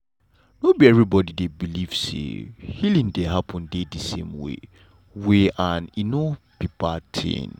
no be everybody dey believe say healing dey happen de same way way and e no be bad tin.